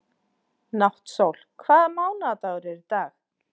Náttsól, hvaða mánaðardagur er í dag?